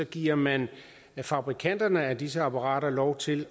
giver man fabrikanterne af disse apparater lov til